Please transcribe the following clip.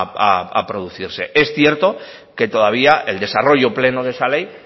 a producirse es cierto que todavía el desarrollo pleno de esa ley